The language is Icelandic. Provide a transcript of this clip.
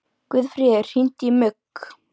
Guðfríður, hringdu í Mugg.